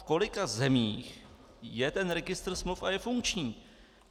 V kolika zemích je ten registr smluv a je funkční.